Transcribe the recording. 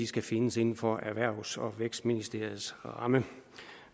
skal findes inden for erhvervs og vækstministeriets ramme